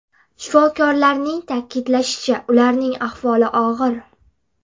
Shifokorlarning ta’kidlashicha ularning ahvoli og‘ir.